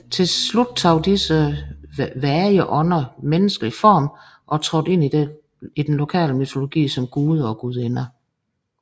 Til slut tog disse vage ånder menneskelig form og trådte ind i den lokale mytologi som guder og gudinder